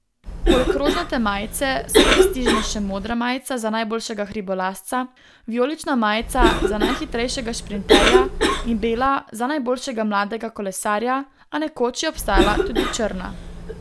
Poleg rožnate majice so prestižne še modra majica za najboljšega hribolazca, vijolična majica za najhitrejšega šprinterja in bela za najboljšega mladega kolesarja, a nekoč je obstaja tudi črna.